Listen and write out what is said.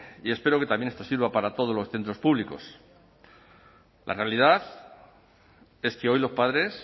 y espero que también esto sirva para todos los centros públicos la realidad es que hoy los padres